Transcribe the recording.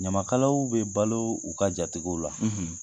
Ɲamakalaw bɛ balo u ka jatigiw la.